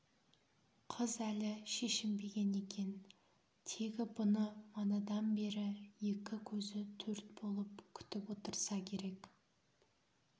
қыз әлі шешінбеген екен тегі бұны манадан бері екі көзі төрт болып күтіп отырса керек